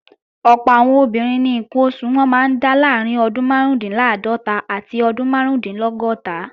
Ọ̀pọ̀ àwọn obìnrin ni ǹkan oṣù wọn máa ń dá láàrín ọdún márùúndínláàádọ́ta àti ọdún márùúndínlọ́gọ́ta